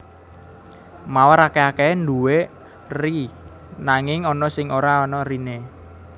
Mawar akèh akèhé nduwé eri nanging ana sing ora ana eriné